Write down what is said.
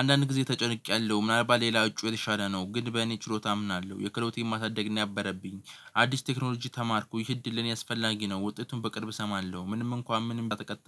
አንዳንድ ጊዜ ተጨንቄያለሁ ምናልባት ሌላ እጩ የተሻለ ነው። ግን በእኔ ችሎታ አምናለሁ የክሎቲን ማሳደግ ነው። ነበረብኝ አዲስ ቴክኖሎጂ ተማርኩ ይህ እድል ለኔ አስፈላጊ ነው። ውጤቱን በቅርብ እሰማለሁ ምንም እንኳን ምንም ተቀጥለ